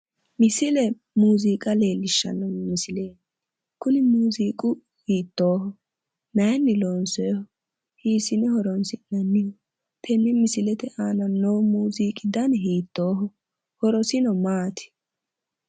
Misile muuziiqa leellishshanno misileeti, kuni muuziiqu hiittooho? mayiinni loonsooyiho? hiisine horonsi'nanniho? tenne misilete aana noo muuziiqi dani hiittooho? Horosino maati?